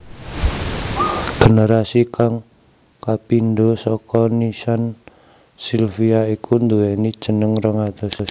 Generasi kang kapindho saka nissan silvia iku nduwéni jenengé rong atus